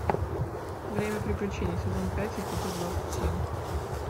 время приключений сезон пять эпизод двадцать семь